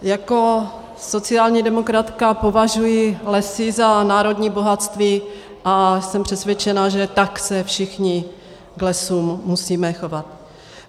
Jako sociální demokratka považuji lesy za národní bohatství a jsem přesvědčena, že tak se všichni k lesům musíme chovat.